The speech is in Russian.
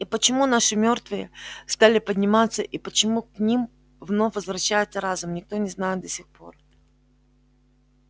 и почему наши мёртвые стали подниматься и почему к ним вновь возвращается разум никто не знает до сих пор